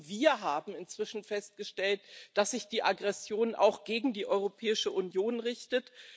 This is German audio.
Und wir haben inzwischen festgestellt, dass sich die Aggression auch gegen die Europäische Union richtet.